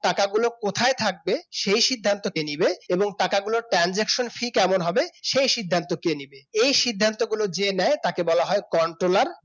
টাকাগুলো কোথায় থাকবে সেই সিদ্ধান্ত কে নেবে এবং টাকাগুলো transaction free কেমন হবে সেই সিদ্ধান্ত কে নিবে এই সিদ্ধান্তগুলি যে নেয় তাকে বলা হয় controller